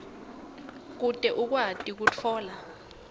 kute ukwati kutfola